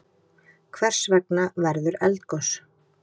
Hvers vegna verður eldgos?